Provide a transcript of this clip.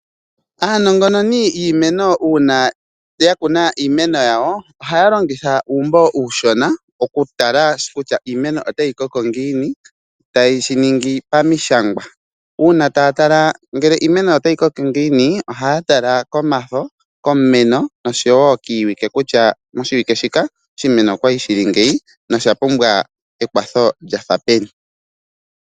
Aanongononi yiimeno uuna ya kuna iimeno yawo ohaya longitha uumbo uushona okutala kutya iimeno otayi koko ngiini tayeshi ningi pamishangwa. Uuna taya tala kutya iimeno otayi koko ngiini, ohaya tala komafo, komumeno noshowo kiiwike kutya moshiwike shika oshimeno okwali shili ngeyi nosha pumbwa ekwatho lyafa peni.